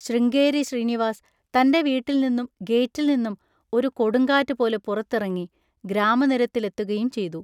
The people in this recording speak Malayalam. ശൃംഗേരി ശ്രീനിവാസ് തൻ്റെ വീട്ടിൽനിന്നും ഗേറ്റിൽനിന്നും ഒരു കൊടുങ്കാറ്റുപോലെ പുറത്തിറങ്ങി, ഗ്രാമനിരത്തിലെത്തുകയും ചെയ്തു.